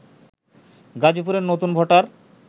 গাজীপুরের নতুন ভোটার